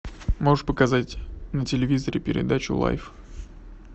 можешь показать на телевизоре передачу лайф